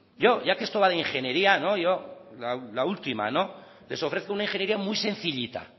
yo ya que esto va de ingeniería yo la última no les ofrezco una ingeniería muy sencillita